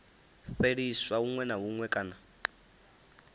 fheliswa huṅwe na huṅwe kana